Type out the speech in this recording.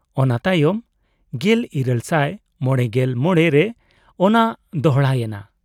ᱚᱱᱟ ᱛᱟᱭᱚᱢ 1855 ᱨᱮ ᱚᱱᱟ ᱫᱚᱦᱲᱟᱭᱮᱱᱟ ᱾